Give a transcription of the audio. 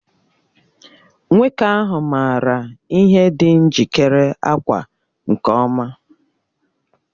Nwoke ahụ maara ihe dị njikere ákwà nke ọma